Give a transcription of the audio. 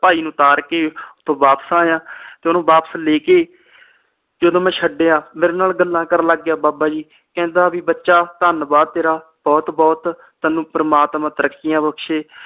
ਭਾਈ ਨੂੰ ਤਾਰ ਕੇ ਓਥੋਂ ਵਾਪਿਸ ਆਇਆ ਤੇ ਓਹਨੂੰ ਵਾਪਿਸ ਲੈ ਕੇ ਜਦੋ ਮੈਂ ਛੱਡਿਆ ਮੇਰੇ ਨਾਲ ਗੱਲਾਂ ਕਰਨ ਲੱਗ ਗਿਆ ਬਾਬਾ ਜੀ ਕਹਿੰਦਾ ਵੀ ਬੱਚਾ ਧੰਨਵਾਦ ਤੇਰਾ ਬਹੁਤ ਬਹੁਤ ਪ੍ਰਮਾਤਮਾ ਤੈਨੂੰ ਤਰੱਕੀਆਂ ਬਖਸ਼ੇ